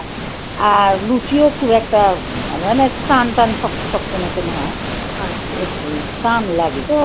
আর লুচিও খুব একটা মানে অনেক টানটান শক্ত শক্ত মতন হয়. আচ্ছা একটু না টান লাগে.